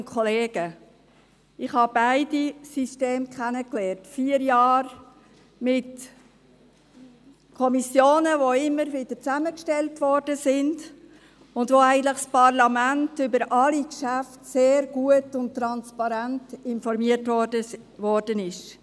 Ich habe beide Systeme kennengelernt: vier Jahre mit Kommissionen, die immer wieder neu zusammengestellt wurden und von denen das Parlament eigentlich über alle Geschäfte sehr gut und transparent informiert worden ist.